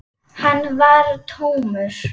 Hann var tómur.